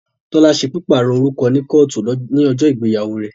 Tọ́lá ṣe pípàrọ̀ orúkọ ní kọ́ọ̀tù ní ọjọ́ ìgbéyàwó rẹ̀